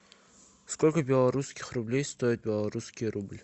сколько белорусских рублей стоит белорусский рубль